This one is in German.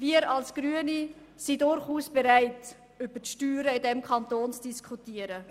Wir als Grüne sind durchaus bereit, über die Steuern in diesem Kanton zu diskutieren.